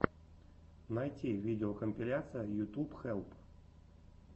найти видеокомпиляция ютуб хелп